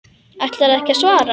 Ætlarðu ekki að svara?